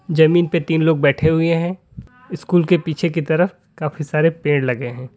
जमीन पे तीन लोग बैठे हुए है स्कूल के पीछे की तरफ काफी सारे पेड़ लगे है।